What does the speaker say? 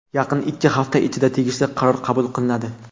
Yaqin ikki hafta ichida tegishli qaror qabul qilinadi.